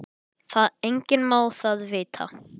Enginn má það vita.